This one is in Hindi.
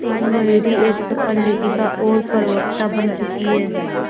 आज मयूरी एक सफल लेखिका और प्रवक्ता बन चुकी है